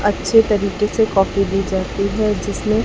अच्छे तरीके से कॉफी दी जाती है जिसमें--